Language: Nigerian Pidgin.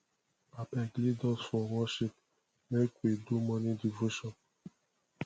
abeg lead us for worship make we do morning devotion